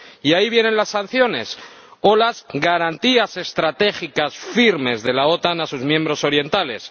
Y ahí vienen las sanciones o las garantías estratégicas firmes de la OTAN a sus miembros orientales.